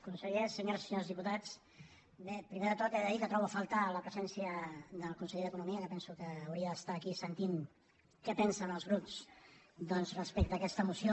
conseller senyores i senyors diputats bé primer de tot he de dir que trobo a faltar la presència del conseller d’economia que penso que hauria d’estar aquí sentint què pensen els grups doncs respecte a aquesta moció